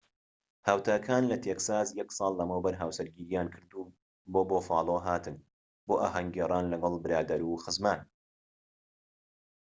هاوتاکان لە تێکساس یەک ساڵ لەمەوبەر هاوسەرگیریان کردوو و بۆ بوفالۆ هاتن بۆ ئاھەنگ گێڕان لەگەڵ برادەر و خزمان